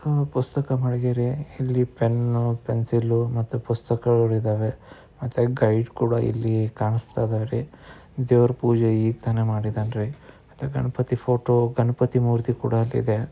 ಓ ಪುಸ್ತಕ ಮಳಿಗೆ ರೀ ಇಲ್ಲಿ ಪೆನ್ನು ಪೆನ್ಸಿಲ್ಲು ಮತ್ತು ಪುಸ್ತಕಗಳು ಇದಾವೆ ಮತ್ತೆ ಗೈಡ್ ಕೂಡ ಇಲ್ಲಿ ಕಾಣಿಸ್ತಾದ ರೀ. ದೇವರ್ ಪೂಜೆ ಈಗ ತಾನೇ ಮಾಡಿದನ್ ರೀ ಮತ್ತೆ ಗಣಪತಿ ಫೋಟೋ ಗಣಪತಿ ಮೂರ್ತಿ ಕೂಡ ಅಲ್ಲಿದೆ.